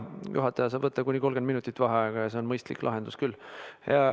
Jaa, juhataja saab võtta kuni 30 minutit vaheaega ja see on mõistlik lahendus küll.